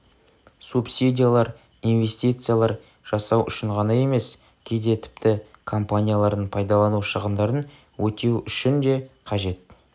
субсидиялар инвестициялар жасау үшін ғана емес кейде тіпті компаниялардың пайдалану шығындарын өтеу үшін де қажет